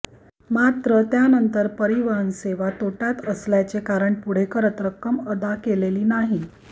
मात्र त्यानंतर परिवहन सेवा तोटय़ात असल्याचे कारण पुढे करत रक्कम अदा केलेली नाही